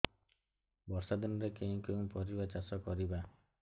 ବର୍ଷା ଦିନରେ କେଉଁ କେଉଁ ପରିବା ଚାଷ କରିବା